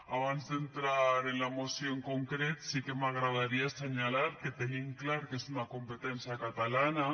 abans d’entrar ara en la moció en concret sí que m’agradaria assenyalar que tenim clar que és una competència catalana